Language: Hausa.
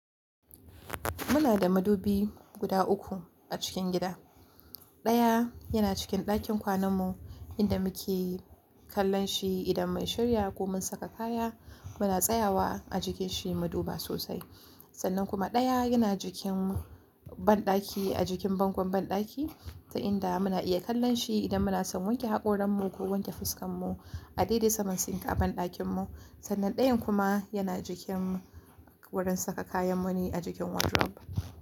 Muna da madubi guda uku a cikin gida. Ɗaya yana cikin ɗakin kwananmu inda muke kallon shi idan mai shirya ko mun saka kaya muna tsayawa a jikin shi maduba sosai. Sannan kuma ɗaya yana jikin banɗaki a jikin bangon banɗaki, ta inda muna iya kallon shi idan muna son wanke haƙoranmu ko wanke fuskanmu a dede saman sink a banɗakinmu. Sannan ɗayan kuma yana jikin wurin saka kayanmu ne a jikin wardrobe.